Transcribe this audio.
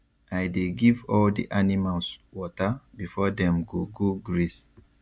i dey give all the animals water before dem go go graze